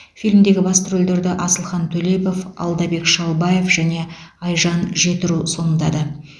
фильмдегі басты рөлдерді асылхан төлепов алдабек шалбаев және айжан жетіру сомдады